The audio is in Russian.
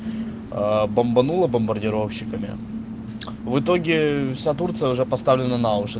ээ бомбануло бомбардировщиками в итоге вся турция уже поставлена на уши